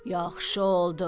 Yaxşı oldu.